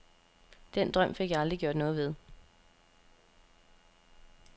Den drøm fik jeg aldrig gjort noget ved.